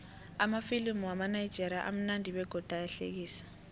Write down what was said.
amafilimu wamanigerian amunandi begodu ayahlekisa